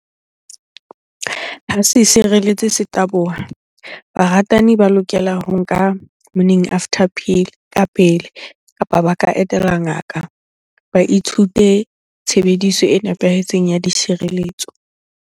Ha se sireletsi se taboha, baratani ba lokela ho nka morning after pill ka pele kapa ba ka etela ngaka. Ba ithute tshebediso e nepahetseng ya ditshireletso.